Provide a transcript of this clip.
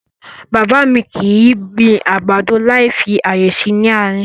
Bàbá mi kì í gbin àgbàdo láì fi ààyè sí nị àárín.